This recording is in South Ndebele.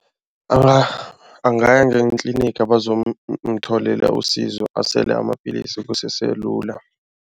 Angaya ngetliniga bazomutholela usizo asele amapillisi kusese lula.